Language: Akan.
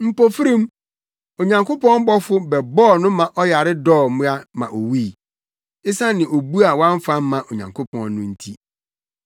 Mpofirim, Onyankopɔn bɔfo bɛbɔɔ no ma ɔyare dɔɔ mmoa ma owui, esiane obu a wamfa amma Onyankopɔn no nti.